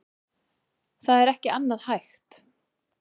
Það er ekki annað hægt